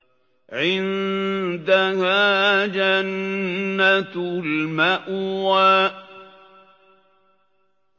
عِندَهَا جَنَّةُ الْمَأْوَىٰ